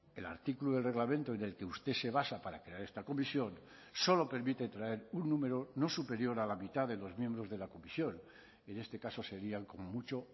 el artículo del reglamento en el que usted se basa para crear esta comisión solo permite traer un número no superior a la mitad de los miembros de la comisión en este caso serían como mucho